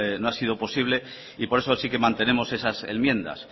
no ha sido posible por eso sí que mantenemos esas enmiendas